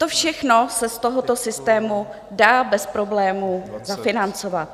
To všechno se z tohoto systému dá bez problémů zafinancovat.